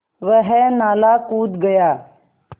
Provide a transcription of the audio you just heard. वह नाला कूद गया